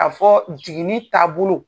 Ka fɔ jiginni taabolo.